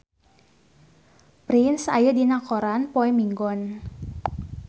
Prince aya dina koran poe Minggon